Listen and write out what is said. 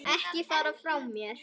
Ekki fara frá mér!